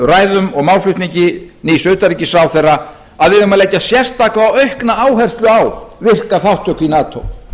ræðum og málflutningi nýs utanríkisráðherra að við eigum að leggja sérstaka og aukna áherslu á virka þátttöku í nato